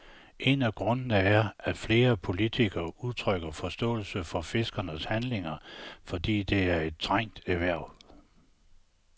En af grundene er, at flere politikere udtrykker forståelse for fiskernes handlinger, fordi det er et trængt erhverv.